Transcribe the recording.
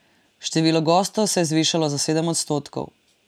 Število gostov se je zvišalo za sedem odstotkov.